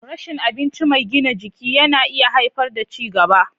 Rashin abinci mai gina jiki na iya haifar da ci gaba.